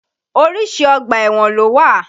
Oríṣi ọgbà ẹ̀wọ̀n ló wà.